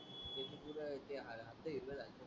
उलट ते हर हप्ते घेतले सारखे